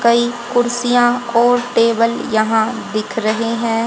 कई कुर्सियां और टेबल यहां दिख रहे हैं।